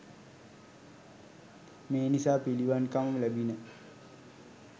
මේ නිසා පිළිවන්කම ලැබිණ.